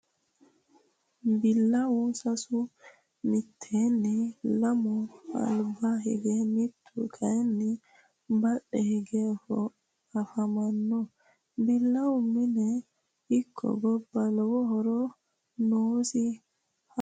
Billawu sasu mitteenni lamu alba higge mittu kaaynni badhe hige afamanno. Billawu mine ikko gobba lowo horo noosi haqqe murateno injaanno.